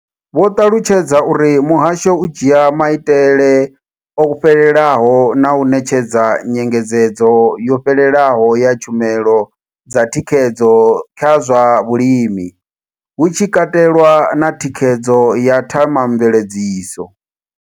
Vho ṱalutshedza uri muhasho u dzhia maitele o fhelelaho na u ṋetshedza nyengedzedzo yo fhelelaho ya tshumelo dza thikhedzo kha zwa vhulimi, hu tshi katelwa na thikhedzo ya Thema mveledziso.